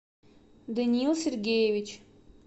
даниил сергеевич